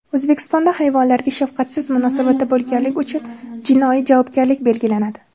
O‘zbekistonda hayvonlarga shafqatsiz munosabatda bo‘lganlik uchun jinoiy javobgarlik belgilanadi.